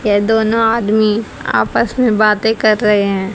ये दोनों आदमी आपस में बातें कर रहे हैं।